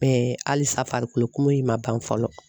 halisa farikolokumu in ma ban fɔlɔ.